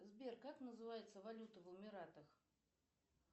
сбер как называется валюта в эмиратах